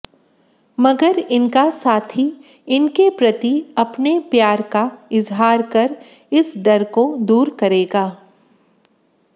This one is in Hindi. मगर इनका साथी इनके प्रति अपने प्यार का इजहार कर इस डर को दूर करेगा